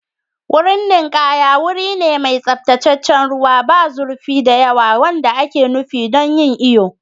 Wurin ninkaya wuri ne mai tsaftataccen ruwa, ba zurfi da yawa wanda ake nufi don yin iyo.